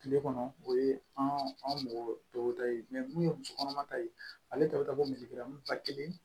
Kile kɔnɔ o ye anw mɔgɔ tɔw ta ye mun ye musokɔnɔma ta ye ale ta bɛ taa bɔ misiw ba kelen